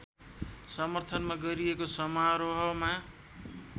समर्थनमा गरिएको समारोहमा